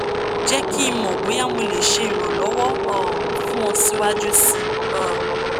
jẹ ki n mọ boya mo le ṣe iranlọwọ um fun ọ siwaju sii um